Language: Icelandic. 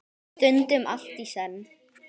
Stundum allt í senn.